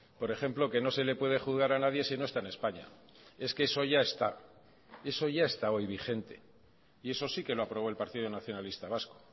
por ejemplo que no se le puede juzgar a nadie si no está en españa es que eso ya está eso ya está hoy vigente y eso sí que lo aprobó el partido nacionalista vasco